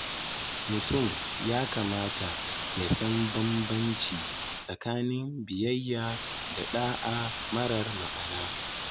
Mutum ya kamata ya san bambanci tsakanin biyayya da ɗa'a marar ma'ana.